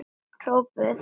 hrópuðu þeir.